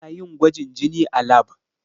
Ana yin gwajin jini a lab.